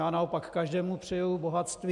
Já naopak každému přeji bohatství.